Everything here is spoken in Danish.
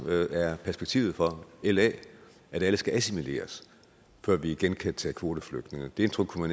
er perspektivet for la at alle skal assimileres før vi igen kan tage kvoteflygtninge det indtryk kunne